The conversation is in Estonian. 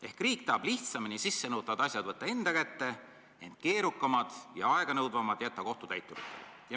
Ehk riik tahab lihtsamini sissenõutavad asjad võtta enda kätte, ent keerukamad ja aeganõudvamad jätta kohtutäituritele.